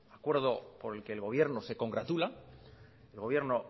acuerdo por el que el gobierno se congratula el gobierno